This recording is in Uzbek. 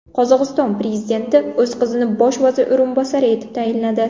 Qozog‘iston prezidenti o‘z qizini bosh vazir o‘rinbosari etib tayinladi.